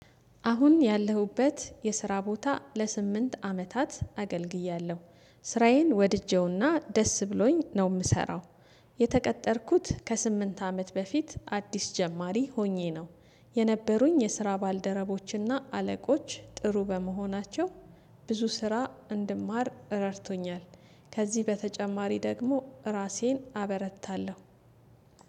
አሁን ያለሁበት የስራ ቦታ ለስምንት አመታት አገልግያለሁ ስራዬን ወድጄውና ደስ ብሎኝ ነው ምሰራው። የተቀጠርኩት ከስምንት አመት በፊት አዲስ ጀማሪ ሆኜ ነው። የነበሩኝ የስራ ባልደረቦችና አለቆች ጥሩ በመሆናቸው ብዙ ስራ እንድማር ረድቶኛል። ከዚህ በተጨማሪ ደግሞ እራሴን አበረታለሁ።